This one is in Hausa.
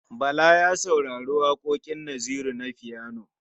Bala ya saurari waƙoƙin Naziru na fiyano.